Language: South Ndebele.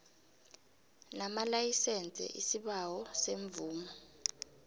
namalayisense isibawo semvumo